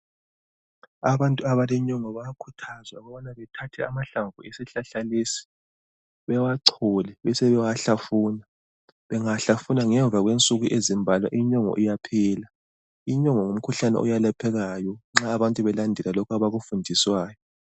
Abantu abalenyongo bayakhuthazwa ukubana bethathe amahlamvu esihlahla lesi bewachole besebewahlafuna. Bengawahlafuna ngemva kwensuku ezimbalwa inyongo iyaphela. Inyongo ngumkhuhlane oyelaphekayo nxa abantu belandela lokhu abakufundiswayo.